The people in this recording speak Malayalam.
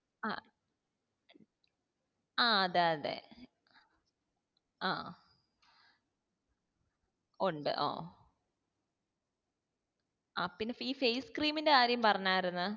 ആ ആഹ് അതെ അതെ ആ ഉണ്ട് ഓ ആഹ് പിന്നെ ഈ face cream ന്റെ കാര്യം പറഞ്ഞാർന്ന്